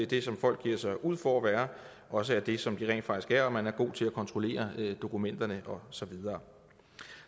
det som folk giver sig ud for at være også er det som de rent faktisk er og at man er god til at kontrollere dokumenterne og så videre